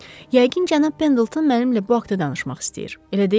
Yəqin cənab Pendleton mənimlə bu haqda danışmaq istəyir, elə deyilmi?